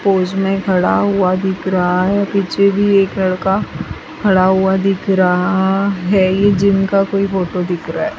Pose में खड़ा हुआ दिख रहा है पीछे भी एक लड़का खड़ा हुआ दिख रहा है ये जिम का कोई फोटो दिख रहा है।